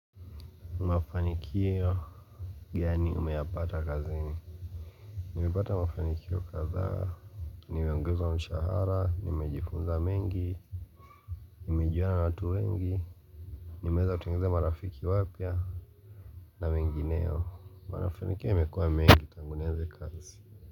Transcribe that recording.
Mafanikio gani umeyapata kazini? Nilipata mafanikio kadhaa, nimeongeza mshahara, nimejifunza mengi nimejuana na watu wengi, nimeweza kutengeneza marafiki wapya na mengineyo. Mafanikio yamekuwa mengi tangu nianze kazi.